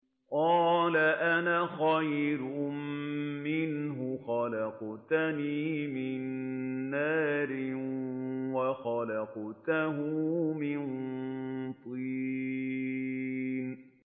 قَالَ أَنَا خَيْرٌ مِّنْهُ ۖ خَلَقْتَنِي مِن نَّارٍ وَخَلَقْتَهُ مِن طِينٍ